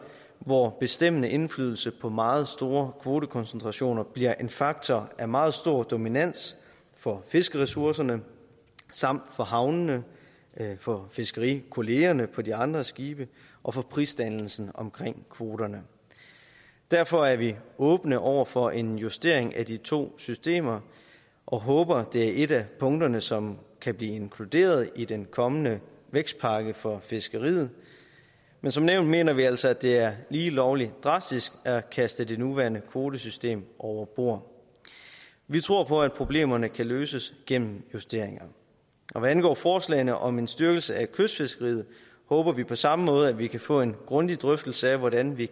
hvor bestemmende indflydelse på meget store kvotekoncentrationer bliver en faktor af meget stor dominans for fiskeressourcerne samt for havnene for fiskerikollegaerne på de andre skibe og for prisdannelsen omkring kvoterne derfor er vi åbne over for en justering af de to systemer og håber at det er et af punkterne som kan blive inkluderet i den kommende vækstpakke for fiskeriet men som nævnt mener vi altså at det er lige lovlig drastisk at kaste det nuværende kvotesystem over bord vi tror på at problemerne kan løses gennem justeringer hvad angår forslagene om en styrkelse af kystfiskeriet håber vi på samme måde at vi kan få en grundig drøftelse af hvordan vi